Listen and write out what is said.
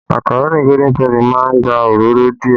Màkàró Golden penny má ń gba òróró díẹ̀